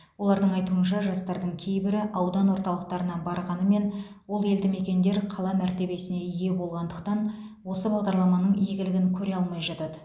олардың айтуынша жастардың кейбірі аудан орталықтарына барғанымен ол елдімекендер қала мәртебесіне ие болғандықтан осы бағдарламаның игілігін көре алмай жатады